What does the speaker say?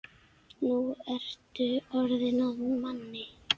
Nú ertu orðinn að manni.